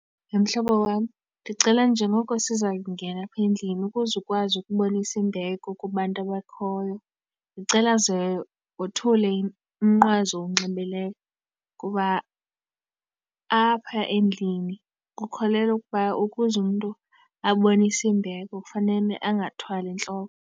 He mhlobo wam, ndicela njengoko siza kungena apha endlini ukuze ukwazi ukubonisa imbeko kubantu abakhoyo, ndicela ze wothule umnqwazi okunxibileyo. Kuba apha endlini kukholelwa ukuba ukuze umntu abonise imbeko kufanele angathwali entloko.